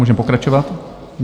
Můžeme pokračovat.